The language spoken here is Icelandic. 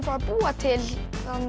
að búa til